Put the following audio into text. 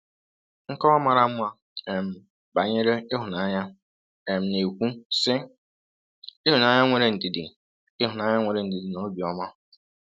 Nkọwa mara mma um banyere ịhụnanya um na-ekwu, sị: “ Ịhụnanya nwere ndidi Ịhụnanya nwere ndidi na obiọma um.